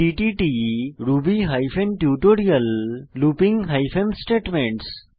টিটিট Ruby hyphen tutorial looping hyphen statements